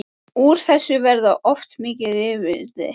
Úr þessu verða oft mikil rifrildi.